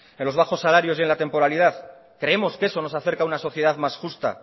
en los bajos salarios y en la temporalidad creemos que eso nos acerca a una sociedad más justa